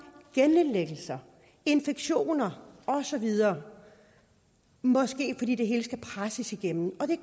genindlæggelser infektioner og så videre måske er det fordi det hele skal presses igennem og det